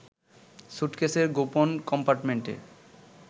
সুটকেসের গোপন কম্পার্টমেন্টে